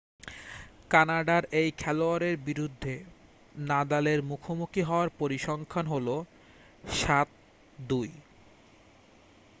কানাডার এই খেলোয়াড়ের বিরুদ্ধে নাদালের মুখোমুখি হওয়ার পরিসংখ্যান হলো 7-2